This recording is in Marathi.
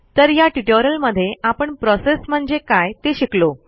तर ह्या ट्युटोरियलमधे आपण प्रोसेस म्हणजे काय ते शिकलो